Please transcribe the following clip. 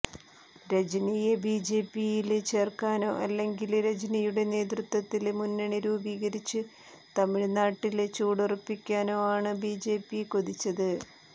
രജനിയെ ബിജെപിയില് ചേര്ക്കാനോ അല്ലെങ്കില് രജനിയുടെ നേതൃത്വത്തില് മുന്നണി രൂപീകരിച്ച് തമിഴ് നാട്ടില് ചുവടുറപ്പിക്കാനോ ആണ് ബിജെപി കൊതിച്ചത്